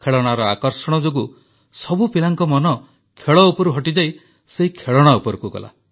ଖେଳଣାର ଆକର୍ଷଣ ଯୋଗୁଁ ସବୁ ପିଲାଙ୍କ ମନ ଖେଳ ଉପରୁ ହଟିଯାଇ ସେହି ଖେଳଣା ଉପରକୁ ଗଲା